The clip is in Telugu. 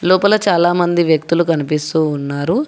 లోపల చాలామంది వ్యక్తులు కనిపిస్తూ ఉన్నారు.